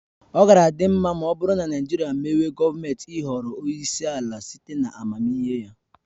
Ọ gaara adị mma ọ bụrụ na Naịjirịa mewe gọọmenti ịhọrọ onyeisi ala site na amamihe ya.